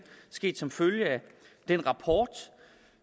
sket som følge af den rapport